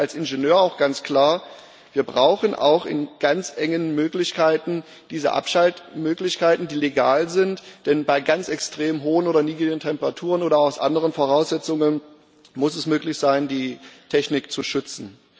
Aber ich sage als Ingenieur auch ganz klar Wir brauchen in ganz engem Rahmen diese Abschaltmöglichkeiten, die legal sind, denn bei ganz extrem hohen oder niedrigen Temperaturen oder unter anderen Voraussetzungen muss es möglich sein, die Technik zu schützen.